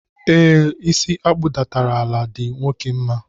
E, isi akpudatara ala di nwoke mma.